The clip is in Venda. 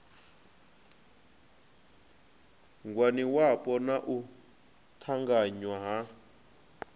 ngwaniwapo na u ṱanganywa ha